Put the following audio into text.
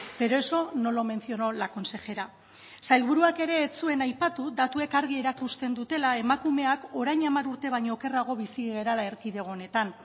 pero eso no lo menciono la consejera sailburuak ere ez zuen aipatu datuek argi erakusten dutela emakumeak orain hamar urte baino okerrago bizi garela erkidego honetan